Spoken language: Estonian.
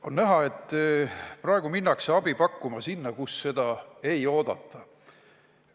On näha, et praegu minnakse abi pakkuma sinna, kus seda ei oodata.